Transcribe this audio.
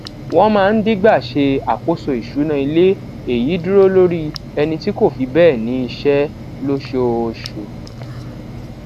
wọn máa ń dígbà ṣe àkóso ìṣúná ilé èyí dúró lórí ẹni tí kò fi béè ní iṣé lóṣooṣù